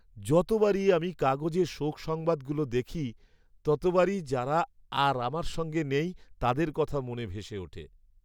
যতবারই আমি কাগজে শোক সংবাদগুলো দেখি ততবারই যারা আর আমার সঙ্গে নেই তাদের কথা মনে ভেসে ওঠে।